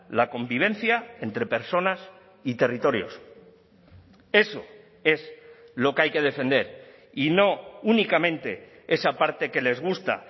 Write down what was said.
la convivencia entre personas y territorios eso es lo que hay que defender y no únicamente esa parte que les gusta